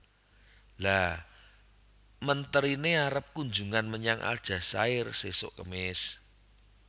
Lha menterine arep kunjungan menyang Aljazair sesok kemis